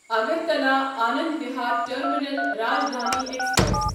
Agartala Anand Vihar terminal Rajdhani express